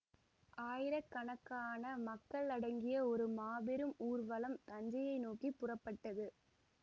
ஆயிரக்கணக்கான மக்கள் அடங்கிய ஒரு மாபெரும் ஊர்வலம் தஞ்சையை நோக்கி புறப்பட்டது